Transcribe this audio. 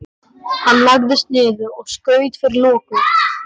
Hann lagðist niður og skaut fyrir loku.